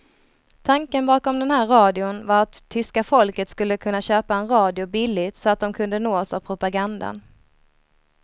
Tanken bakom den här radion var att tyska folket skulle kunna köpa en radio billigt så att de kunde nås av propagandan.